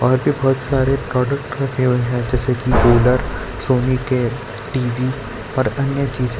और भी बहुत सारे प्रोडक्ट रखे हुए है जैसे कि ग्रोवर सोनी के टी_वी और अन्य चीजें--